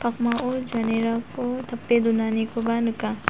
pakmao janerako tape donanikoba nika.